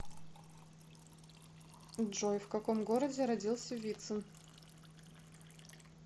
джой в каком городе родился вицин